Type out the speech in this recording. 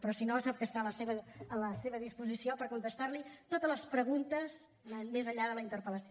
però si no sap que està a la seva disposició per contestar li totes les preguntes més enllà de la interpel·lació